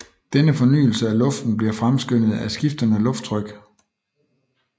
Denne fornyelse af luften bliver fremskyndet af skiftende lufttryk